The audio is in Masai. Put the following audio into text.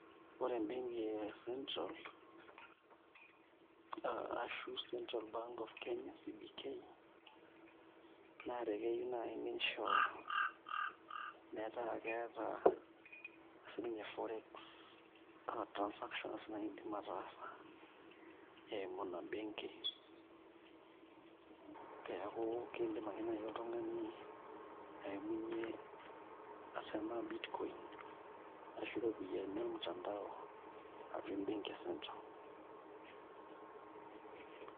Ore embenki e central ashu Central Bank of Kenya (CBK) naa ekeyieu naai nisho metaa keeta siinye forex transactions naidim ataasa eimu ina benki pee eku kiidim ake naai oltung'ani aimunyie tenaa bitcoin ashu iropiyiani ormutandao atua embenki e Central.